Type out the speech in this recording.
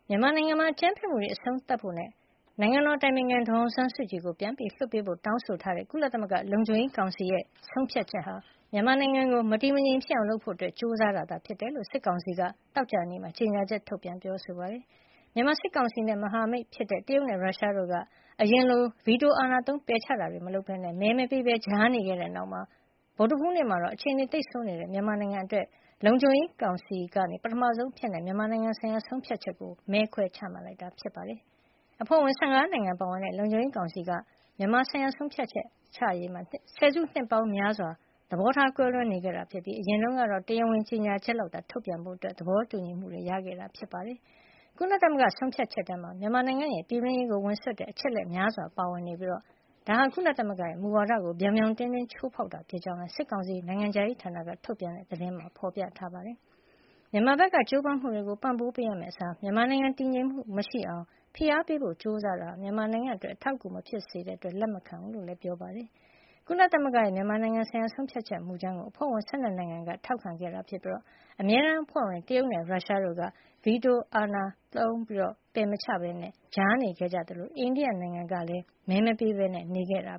မြန်မာနိုင်ငံမှာ အကြမ်းဖက်မှုတွေ အဆုံးသတ်ဖို့နဲ့ နိုင်ငံတော်အတိုင်ပင်ခံ ဒေါ်အောင်ဆန်းစုကြည်ကို ပြန်လွှတ်ပေးဖို့ တောင်းဆိုထားတဲ့ ကုလသမဂ္ဂလုံခြုံရေးကောင်စီရဲ့ ဆုံးဖြတ်ချက်ဟာ မြန်မာနိုင်ငံကို မတည်မငြိမ်ဖြစ်အောင် လုပ်ဖို့ ကြိုးစားတာ ဖြစ်ကြောင်း စစ်ကောင်စီက သောကြာနေ့မှာ ကြေညာချက် ထုတ်ပြန်ပြောဆိုပါတယ်။ မြန်မာစစ်ကောင်စီနဲ့ မဟာမိတ်ဖြစ်တဲ့ တရုတ်နဲ့ ရုရှားတို့က အရင်လို ဗီတိုအာဏာသုံး ပယ်ချတာတွေမလုပ်ပဲ မဲမပေးပဲ ကြားနေခဲ့တဲ့နောက် ဗုဒ္ဓဟူးနေ့မှာတော့ အခြေနေသိပ်ဆိုးနေတဲ့ မြန်မာနိုင်ငံအတွက် လုံခြုံရေးကောင်စီက ပထမဆုံးအဖြစ် မြန်မာနိုင်ငံဆိုင်ရာ ဆုံးဖြတ်ချက် ကိုမဲခွဲပြီး ချမှတ်လိုက်တာ ဖြစ်ပါတယ်။ အဖွဲ့ဝင် ၁၅ နိုင်ငံ ပါဝင်တဲ့ လုံခြုံရေးကောင်စီက မြန်မာဆိုင်ရာဆုံးဖြတ်ချက်ချရေးမှာ ဆယ်စုနှစ်ပေါင်းများစွာ သဘောထား ကွဲလွဲနေတာ ဖြစ်ပြီး အရင်တုန်းကတော့ တရားဝင်ကြေညာချက်လောက်သာ ထုတ်ပြန်ဖို့ သဘောတူညီမှု ရခဲ့ကြတာ ဖြစ်ပါတယ်။ ကုလသမဂ္ဂဆုံးဖြတ်ချက်ထဲမှာ မြန်မာနိုင်ငံရဲ့ ပြည်တွင်းရေးကိုဝင်စွက်တဲ့ အချက်အလက် များစွာပါဝင်နေပြီး ဒါဟာ ကုလသမဂ္ဂရဲ့ မူဝါဒကို ပြောင်ပြောင်တင်းတင်း ချိုးဖေါက်တာ ဖြစ်ကြောင်းလည်း စစ်ကောင်စီ နိုင်ငံခြားရေးဌာနက ထုတ်ပြန်တဲ့ ကြေညာချက်မှာ ဖေါ်ပြပါတယ်။ မြန်မာဘက်က ကြိုးပမ်းမှုတွေကို ပံ့ပိုးပေးရမယ့်အစား မြန်မာနိုင်ငံတည်ငြိမ်မှု မရှိအောင် ဖိအားပေးဖို့ ကြိုးစားတာဟာ မြန်မာနိုင်ငံအတွက် အထောက်အကူမဖြစ်တဲ့ အတွက် လက်ခံမှာမဟုတ်ကြောင်းလည်း ပြောပါတယ်။ ကုလသမဂ္ဂရဲ့ မြန်မာနိုင်ငံဆိုင်ရာ ဆုံးဖြတ်ချက်မူကြမ်းကို အဖွဲ့ဝင် ၁၂ နိုင်ငံက ထောက်ခံခဲ့တာ ဖြစ်ပြီး အမြဲတမ်းအဖွဲ့ဝင် တရုတ်နဲ့ ရုရှားတို့က ဗီတိုအာဏာသုံး ပယ်မချခဲ့ပဲ ကြားနေခဲ့ကြသလို အိန္ဒိယကလည်း မဲမပေးပဲနေခဲ့တာ